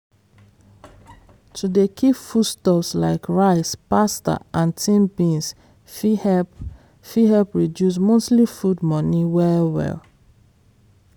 to dey keep foodstuff like rice pasta and tin beans fit help fit help reduce monthly food money well-well.